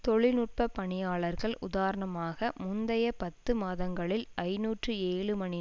தொழில்நுட்ப பணியாளர்கள் உதாரணமாக முந்தைய பத்து மாதங்களில் ஐநூற்று ஏழு மணி